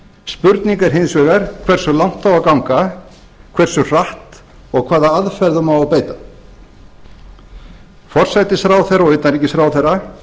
spurning er hins vegar hversu langt á að ganga hversu hratt og hvaða aðferðum á að beita forsætisráðherra og utanríkisráðherra